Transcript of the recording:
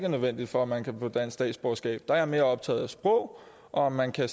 nødvendige for at man kan få dansk statsborgerskab der er jeg mere optaget af sprog og af om man kan